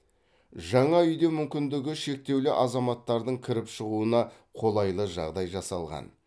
жаңа үйде мүмкіндігі шектеулі азаматтардың кіріп шығуына қолайлы жағдай жасалған